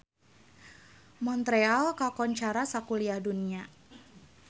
Montreal kakoncara sakuliah dunya